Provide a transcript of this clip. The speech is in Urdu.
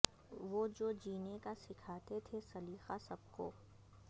وہ جو جینے کا سکھاتے تھے سلیقہ سب کو